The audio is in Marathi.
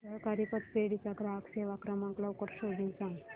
सहकारी पतपेढी चा ग्राहक सेवा क्रमांक लवकर शोधून सांग